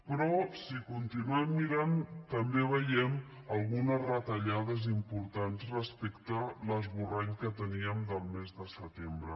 però si continuem mirant també veiem algunes retallades importants respecte a l’esborrany que teníem del mes de setembre